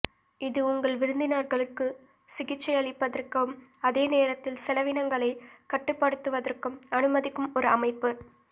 இது உங்கள் விருந்தினர்களுக்கு சிகிச்சையளிப்பதற்கும் அதே நேரத்தில் செலவினங்களை கட்டுப்படுத்துவதற்கும் அனுமதிக்கும் ஒரு அமைப்பு